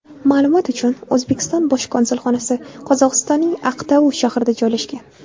Ma’lumot uchun, O‘zbekiston bosh konsulxonasi Qozog‘istonning Aqtau shahrida joylashgan.